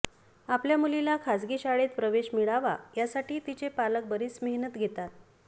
आपल्या मुलीला खासगी शाळेत प्रवेश मिळावा यासाठी तिचे पालक बरीच मेहनत घेतात